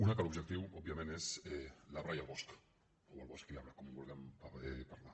una que l’objecti òbviament és l’arbre i el bosc o el bosc i l’arbre com ho vulguem parlar